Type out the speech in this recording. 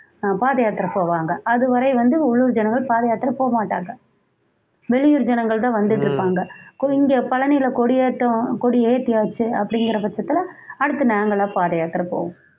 அஹ் பாதயாத்திரை போவாங்க அதுவரை வந்து உள்ளுர் ஜனங்கள் பாதை யாத்திரை போ மாட்டாங்க வெளியூர் ஜனங்கள் தான் வந்திட்டிருப்பாங்க கொஞ்சம் பயனியில கொடி கொடியேற்றம் கொடியேத்தியாச்சி அப்படிங்ற பச்சத்துல அடுத்து நாங்கலாம் பாதயாத்திரை போவோம்